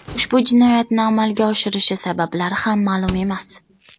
Ushbu jinoyatni amalga oshirishi sabablari ham ma’lum emas.